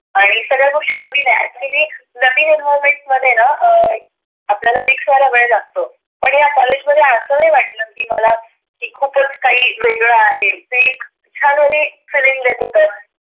आणि सगळ्या गोष्टीत नविन आहेत नविन environment मध्ये ना आपल्याला mix व्हायला वेळ लागतो. पण ह्या कॉलेज मध्ये आस नाही वाटल की मला. की खुप काही वेगळ आहे. ते छान म्हणजे